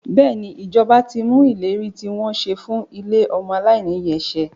Bẹ́ẹ̀ni, ìjọba ti mú ìlérí tí wọ́n ṣe fún ilé ọmọ aláìní ìyá ṣẹ.